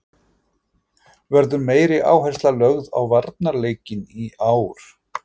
Verður meiri áhersla lögð á varnarleikinn í ár?